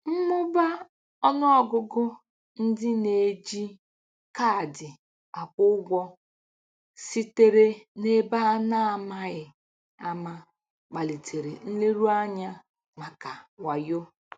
Mmụba ọnụ ọgụgụ ndị na-eji kaadị akwụ ụgwọ sitere n'ebe a na-amaghị ama kpalitere nleruanya maka wayo.